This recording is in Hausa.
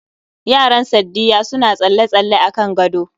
Yaran Saddiya suna tsalle-tsalle akan gado